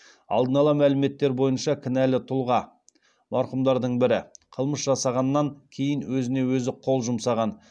алдын ала мәліметтер бойынша кінәлі тұлға қылмыс жасағаннан кейін өзіне өзі қол жұмсаған